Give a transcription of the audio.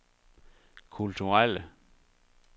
kulturelle